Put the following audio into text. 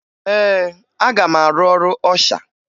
Ee, aga m arụ ọrụ ọsha